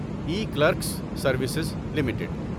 E Clerks Services limited